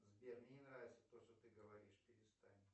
сбер мне не нравится то что ты говоришь перестань